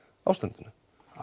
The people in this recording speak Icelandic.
ástandinu